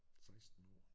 16 år